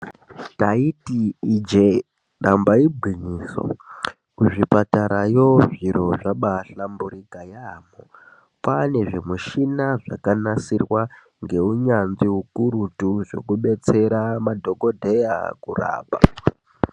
Ndaiyi ijee damba igwinyiso kuzvipatarayo zviro zvabaahlamburika yaamho kwaane zvimushina zvakanasirwa ngeunyanzvi ukurutu zvekubetsera madhokodheya kurapa.